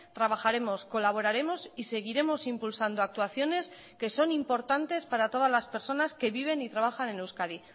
trabajaremos colaboraremos y seguiremos impulsando actuaciones que son importantes para todas las personas que viven y trabajan en euskadi